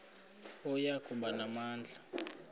oya kuba namandla